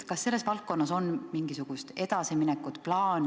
Kas selles valdkonnas on mingisugust edasiminekut?